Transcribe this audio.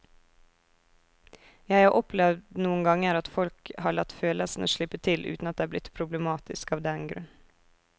Jeg har opplevd noen ganger at folk har latt følelsene slippe til uten at det er blitt problematisk av den grunn.